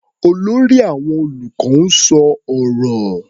Olórí àwọn olùkọ́ ń sọ ọ̀rọ̀.